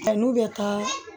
Nka n'u bɛ taa